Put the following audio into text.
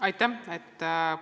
Aitäh!